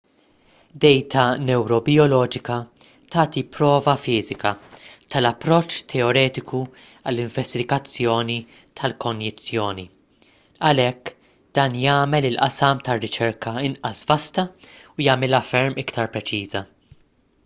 dejta newrobijoloġika tagħti prova fiżika tal-approċċ teoretiku għall-investigazzjoni tal-konjizzjoni għalhekk dan jagħmel il-qasam tar-riċerka inqas vasta u jagħmilha ferm iktar preċiża